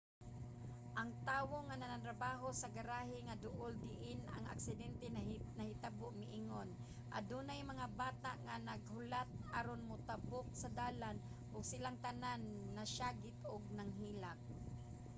ang tawo nga nagtrabaho sa garahe nga duol diin ang aksidente nahitabo miingon: adunay mga bata nga naghulat aron motabok sa dalan ug silang tanan nagsiyagit ug nanghilak.